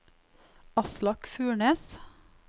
Aslak Furnes